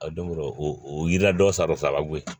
A don o yiri la dɔ sara bɔ yen